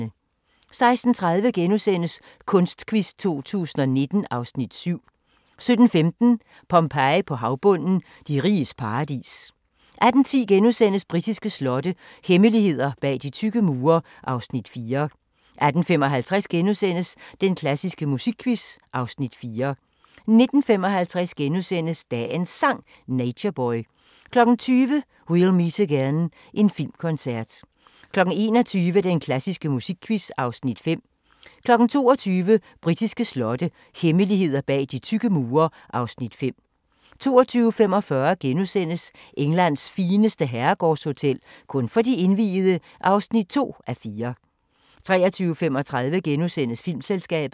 16:30: Kunstquiz 2019 (Afs. 7)* 17:15: Pompeji på havbunden – De riges paradis 18:10: Britiske slotte – hemmeligheder bag de tykke mure (Afs. 4)* 18:55: Den klassiske musikquiz (Afs. 4)* 19:55: Dagens Sang: Nature Boy * 20:00: We'll Meet Again – en filmkoncert 21:00: Den klassiske musikquiz (Afs. 5) 22:00: Britiske slotte – hemmeligheder bag de tykke mure (Afs. 5) 22:45: Englands fineste herregårdshotel – kun for de indviede (2:4)* 23:35: Filmselskabet *